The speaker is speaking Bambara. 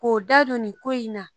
K'o da don in na